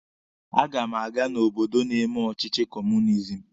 A ga m aga n'obodo na-eme ọchịchị kọọmunizim.